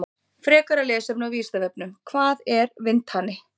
Frekara lesefni á Vísindavefnum: Hvað er vindhani?